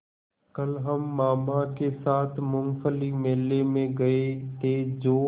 कल हम मामा के साथ मूँगफली मेले में गए थे जो